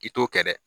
I t'o kɛ dɛ